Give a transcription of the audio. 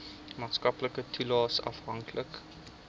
maatskaplike toelaes afhanklik